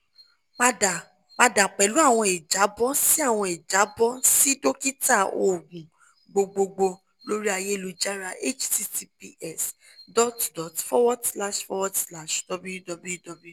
pada pada pẹlu awọn ijabọ si awọn ijabọ si dokita oogun gbogbogbo lori ayelujara --> https://www